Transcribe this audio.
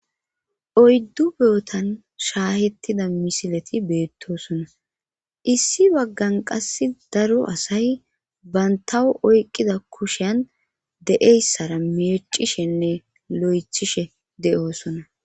oyddu beotan shaahettida misileti beettosona issi baggan qass daro asay bantawu oyqqida kushiyan de7eyssara meecishenne lo7echishe de7oosona